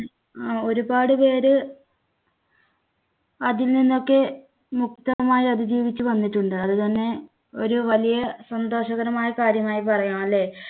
ഒരുപാട് പേര് അതിൽ നിന്നൊക്കെ മുക്തമായി അതിജീവിച്ചു വന്നിട്ടുണ്ട്. അതുതന്നെ ഒരു വലിയ സന്തോഷകരമായ കാര്യമായി പറയാം, അല്ലേ?